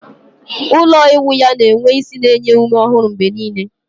Ụlọ ịwụ ya na-enwe ísì na-enye ume ọhụrụ mgbe niile